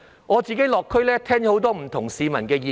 我落區時聽到很多市民的不同意見。